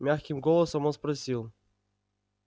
мягким голосом он спросил